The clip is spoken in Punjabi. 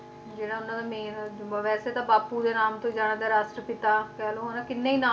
ਜਿਹੜਾ ਉਹਨਾਂ ਦਾ main ਵੈਸੇ ਤਾਂ ਬਾਪੂ ਦੇ ਨਾਮ ਤੋਂ ਹੀ ਜਾਣਦੇ ਜਾਂ ਰਾਸ਼ਟਰ ਪਿਤਾ ਕਹਿਲੋ ਹਨਾਂ ਕਿੰਨੇ ਹੀ ਨਾਮ